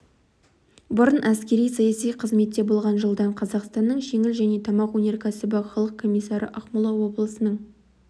бұрын әскери саяси қызметте болған жылдан қазақстанның жеңіл және тамақ өнеркәсібі халық комиссары ақмола облысының